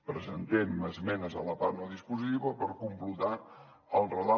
presentem esmenes a la part no dispositiva per completar el relat